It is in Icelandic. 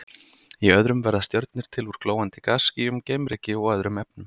Í öðrum verða stjörnur til úr glóandi gasskýjum, geimryki og öðrum efnum.